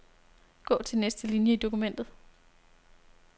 Gå til næste linie i dokumentet.